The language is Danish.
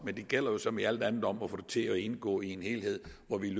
men det gælder jo som i alt andet om at få det til indgå i en helhed hvor vi